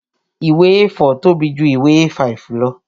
Ìwé A4 tóbi ju ìwé A5 lọ